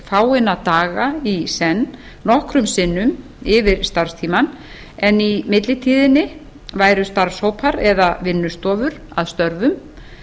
fáeina daga í senn nokkrum sinnum yfir starfstímann en í millitíðinni væru starfshópar eða vinnustofur að störfum